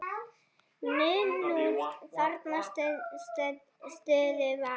Munúð þarna stunduð var.